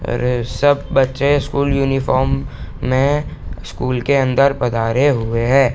ए सब बच्चे school uniform में स्कूल के अंदर पधारे हुए है।